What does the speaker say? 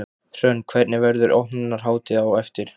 Hrönn, hvernig, verður opnunarhátíð á eftir?